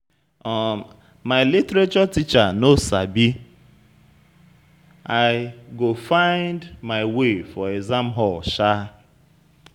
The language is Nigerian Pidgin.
My literature teacher no Sabi, I go find my way for exam hall shaa.